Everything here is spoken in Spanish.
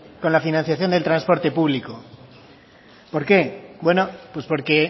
con la financiación del transporte público por qué bueno pues porque